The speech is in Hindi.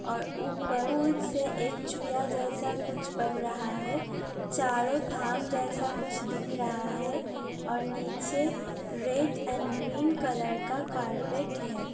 और ऊपर पुल से एक चूड़ा जैसा कुछ बन रहा है चारों धाम जैसा कुछ दिख रहा है और नीचे रेड एण्ड ग्रीन कलर का कार्पेट है।